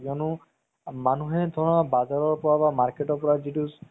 উম উম । হয় আৰু মই মানে প্ৰায় ভাগ চালে mobile ত